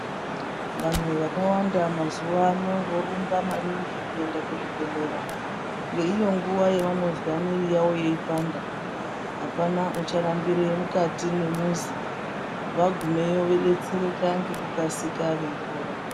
Vanhu vakawanda mazuwaano, vorumba maningi kuenda kuzvibhedhlera ,ngeiyo nguva yavanozwa mwiri yavo yeipanda. Apana ucharambire mukati mwemuzi. Wagumeyo wodetsereka ngekukasira weipora.